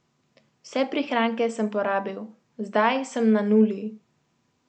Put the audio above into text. Vse prihranke sem porabil, zdaj sem na nuli.